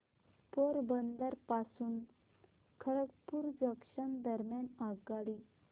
पोरबंदर पासून खरगपूर जंक्शन दरम्यान आगगाडी